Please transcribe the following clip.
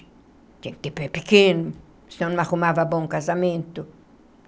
Tinha que ter pé pequeno, senão não arrumava bom casamento.